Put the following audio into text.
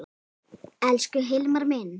Elsku Hilmar minn.